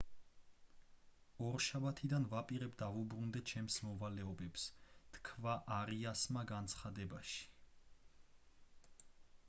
ორშაბათიდან ვაპირებ დავუბრუნდე ჩემს მოვალეობებს თქვა არიასმა განცხადებაში